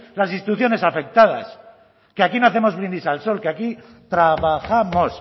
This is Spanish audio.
las instituciones afectadas que aquí no hacemos brindis al sol que aquí trabajamos